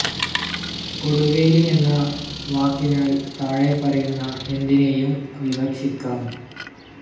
കൊടുവേലി എന്ന വാക്കിനാൽ താഴെപ്പറയുന്ന എന്തിനേയും വിവക്ഷിക്കാം.